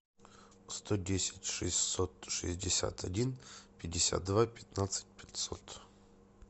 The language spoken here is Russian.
сто десять шестьсот шестьдесят один пятьдесят два пятнадцать пятьсот